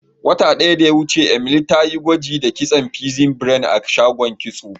Wata daya da ya wuce, Emily ta yi gwaji da kitson pixie braid a shagon kitso.